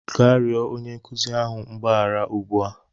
gaa rịọ onye nkuzi ahụ mgbaghara ugbu a!